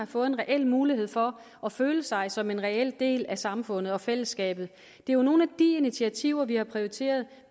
fået en reel mulighed for at føle sig som en reel del af samfundet og fællesskabet det er nogle af de initiativer vi har prioriteret